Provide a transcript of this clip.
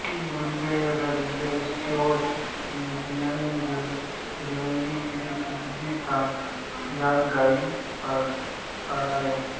गुग्ध व्याव्सायासाठी Jersey Holstein Friesian Deoni Gir Sindhi Tharparkar या गाई पाळाव्यात